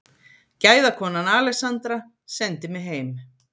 Gæðakonan Alexandra sendi mig heim.